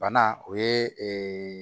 Bana o ye